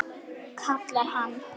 kallar hann.